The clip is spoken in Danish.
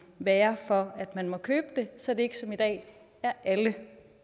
være for at man må købe det så det ikke som i dag er alle